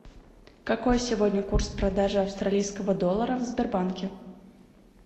какой сегодня курс продажи австралийского доллара в сбербанке